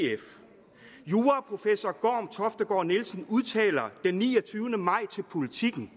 juraprofessor gorm toftegaard nielsen udtaler den niogtyvende maj til politiken